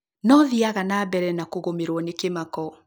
Nothiaga na mbere na kũgũmĩrũo nĩ kĩmako